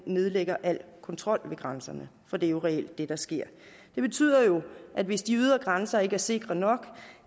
nedlægger al kontrol ved grænserne for det er jo reelt det der sker det betyder jo at hvis de ydre grænser ikke er sikre nok